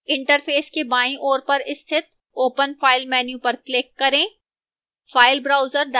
interface के बाईं ओर पर स्थित open file menu पर click करें